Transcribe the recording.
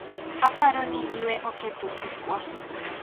aparo ni ywe oketho tukwa